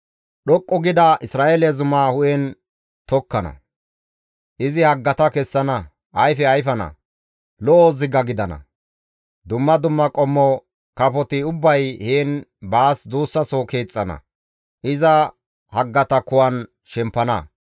Dhoqqu gida Isra7eele zuma hu7en tokkana; izi haggata kessana; ayfe ayfana; lo7o ziga gidana; dumma dumma qommo kafoti ubbay heen baas duussaso keexxana; iza haggata kuwan shempana.